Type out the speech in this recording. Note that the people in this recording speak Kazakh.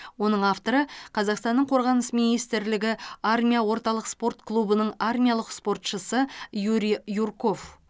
оның авторы қазақстанның қорғаныс министрлігі армия орталық спорт клубының армиялық спортшысы юрий юрков